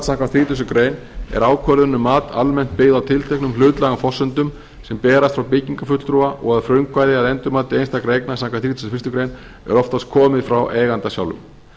samkvæmt þrítugustu greinar er ákvörðun um mat almennt byggð á tilteknum hlutlægum forsendum sem berast frá byggingafulltrúa og að frumkvæði að endurmati einstakra eigna samkvæmt þrítugustu og fyrstu grein er oftast komið frá eiganda sjálfum